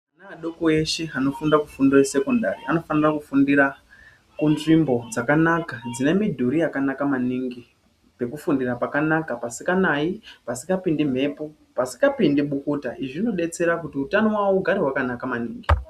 Ana adoko eshe anofunda anofunda fundo yesekondari anofana kufundira kunzvimbo dzakanaka dzine midhuri yakanaka maningi, pekufundira pakanaka pasikanayi, pasikapindi mhepo, pasikapindi bukuta izvi zvinodetsera kuti utano wawo ugare wakanaka maningi .